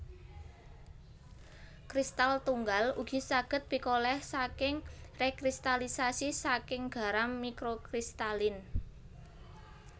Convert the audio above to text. Kristal tunggal ugi saged pikoleh saking rekristalisasi saking garam mikrokristalin